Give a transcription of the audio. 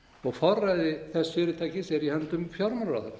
og forræði þess fyrirtækis er í höndum fjármálaráðherra